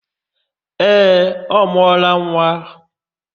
Ee, ọ mụọla nwa.